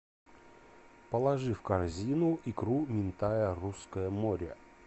положи в корзину икру минтая русское море